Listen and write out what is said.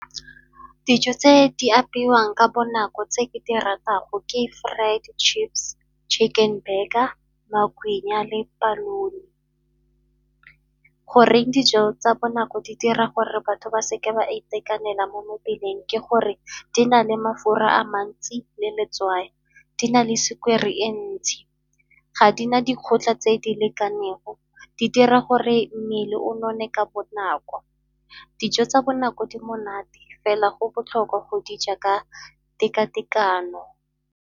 Dijo tse di apewang ka bonako tse ke di ratago ke fried chips, chicken burger, magwinya le polony. Goreng dijo tsa bonako di dira gore batho ba seke ba itekanela mo mebileng ke gore di na le mafura a mantsi le letswai. Di na le sukiri e ntsi, ga di na dikotla tse di lekaneng go dira gore mmele o none ka bonako. Dijo tsa bonako di monate fela go botlhokwa go di ja ka teka-tekano.